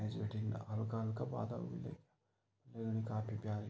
ऐंच बिटिन हल्का-हल्का बादल बि लग्यां काफी प्यारी --